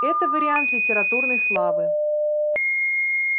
это вариант литературной славы